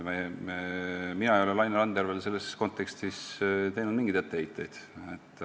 Mina ei ole Laine Randjärvele selles kontekstis mingeid etteheiteid teinud.